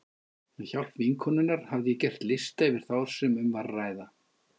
Með hjálp vinkonunnar hafði ég gert lista yfir þá sem um var að ræða.